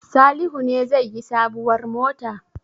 Salihu ne zai yi sabuwar mota?